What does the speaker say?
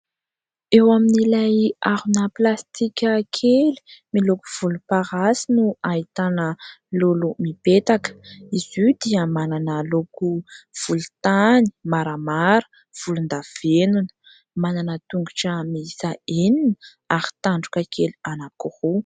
Eo amin'ilay harona plastika kely miloko volomparasy no ahitana lolo mipetaka, izy io dia manana loko volontany, maramara, volondavenona, manana tongotra miisa enina ary tandroka kely anankiroa.